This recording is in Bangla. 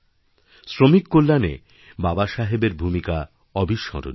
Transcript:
শ্রমিক কল্যাণে বাবাসাহেবের ভূমিকা অবিস্মরণীয়